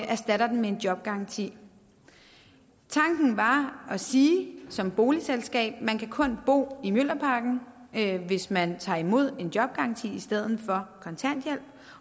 erstatter den med en jobgaranti tanken var at sige som boligselskab at man kun bo i mjølnerparken hvis man tager imod en jobgaranti i stedet for kontanthjælp